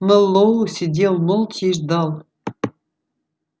мэллоу сидел молча и ждал